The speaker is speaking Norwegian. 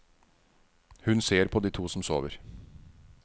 Hun ser på de to som sover.